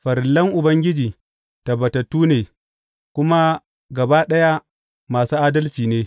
Farillan Ubangiji tabbatattu ne, kuma gaba ɗaya masu adalci ne.